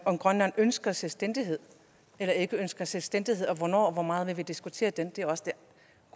om grønland ønsker selvstændighed eller ikke ønsker selvstændighed og hvornår og hvor meget vi vil diskutere det det er også